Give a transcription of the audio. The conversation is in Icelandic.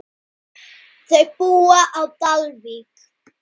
Þau búa á Dalvík.